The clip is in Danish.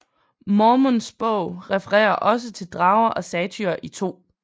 Mormons Bog refererer også til drager og satyrer i 2